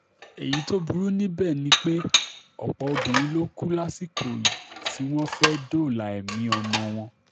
èyí tó burú níbẹ̀ ni pé ọ̀pọ̀ obìnrin ló kú lásìkò tí wọ́n fẹ́ẹ́ dóòlà ẹ̀mí ọmọ wọn